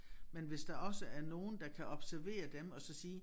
Men hvis der også er nogen der kan observere dem og så sige